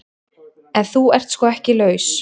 En þú ert sko ekki laus.